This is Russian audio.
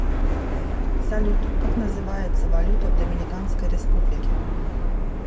салют как называется валюта в доминиканской республике